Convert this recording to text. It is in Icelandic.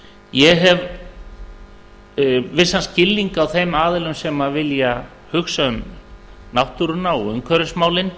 ég hef vissan skilning á þeim aðilum sem vilja hugsa um náttúruna og umhverfismálin